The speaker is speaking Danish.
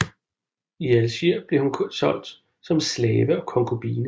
I Alger blev hun solgt som slave og konkubine